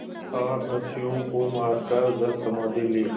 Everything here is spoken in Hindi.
सात दस्युओं को मारकर जलसमाधि ली